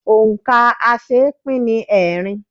Òǹkà̀ aṣeépín ni ẹẹ́rin.